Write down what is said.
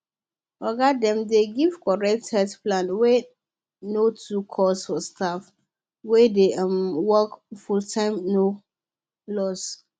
oga dem dey give correct health plan wey no too cost for staff wey dey um work fulltime no loss